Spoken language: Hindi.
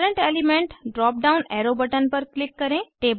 current element drop down arrow button पर क्लिक करें